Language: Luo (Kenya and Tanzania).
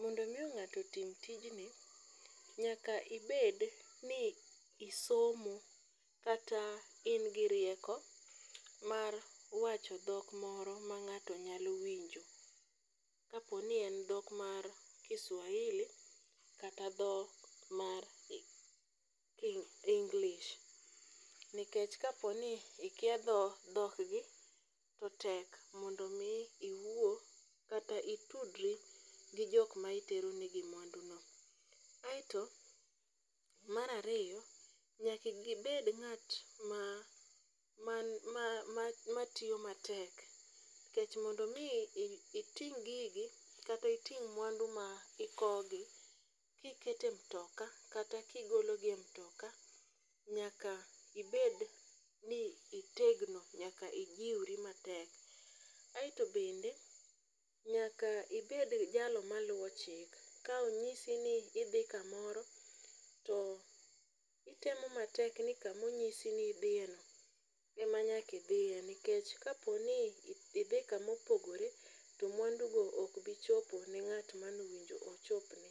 mondo miyo ng'ato otim tijni, nyaka ibed ni isomo kata in gi rieko mar wacho dhok moro ma ng'ato nyalo winjo. Kapo ni en dhok mar Kiswahili kata dhok mar English. Nikech kaponi ikia dhok gi to tek mondo mi iwuo kata itudri gi jok ma itero negi mwandu no. Aeto marariyo, nyakibed ng'at ma ma ma matiyo matek. Nikech mondo mi iting' gigi kata iting' mwandu ma ikowo gi kikete mtoka kata kigolo gi e mtoka, nyaka ibed ni itegno nyaka ijiwri matek. Aeto bende nyaka ibed jalo maluwo chik, ka onyisi ni idhi kamoro, to itemo matek ni kamonyisi ni idhiye no ema nyakidhiye. Nikech kaponi idhi kamopogore, to mwandu go ok bichopo ne ng'at manowinjo ochopne.